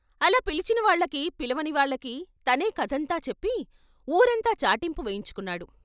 అలా పిలిచినవాళ్ళకీ, పిలవనివాళ్ళకీ తనే కథంతా చెప్పి వూరంతా చాటింపు వేయించుకున్నాడు.